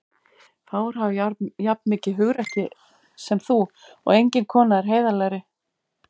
Fáir hafa jafn mikið hugrekki sem þú og engin kona er heiðarlegri.